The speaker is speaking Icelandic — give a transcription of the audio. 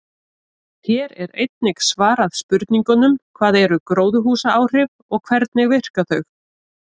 Hér er einnig svarað spurningunum: Hvað eru gróðurhúsaáhrif og hvernig virka þau?